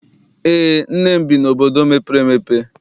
Eé, nne m bi n'obodo mepere emepe.